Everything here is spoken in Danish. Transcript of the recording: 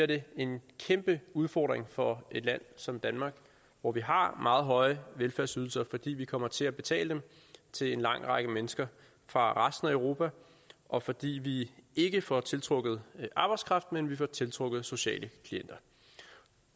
det en kæmpe udfordring for et land som danmark hvor vi har meget høje velfærdsydelser fordi vi kommer til at betale dem til en lang række mennesker fra resten af europa og fordi vi ikke får tiltrukket arbejdskraft men vi får tiltrukket sociale klienter